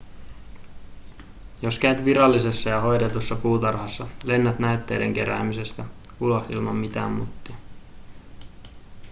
jos käyt virallisessa ja hoidetussa puutarhassa lennät näytteiden keräämisestä ulos ilman mitään muttia